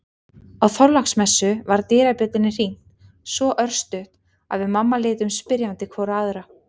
Á Þorláksmessu var dyrabjöllunni hringt svo örstutt að við mamma litum spyrjandi hvor á aðra.